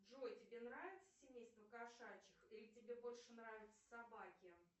джой тебе нравится семейство кошачьих или тебе больше нравятся собаки